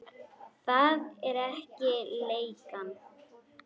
Það er ekki leigan.